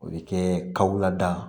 O bɛ kɛ kaw lada